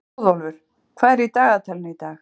Hróðólfur, hvað er í dagatalinu í dag?